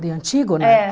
De Antígona? É.